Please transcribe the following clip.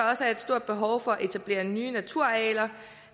også er et stort behov for at etablere nye naturarealer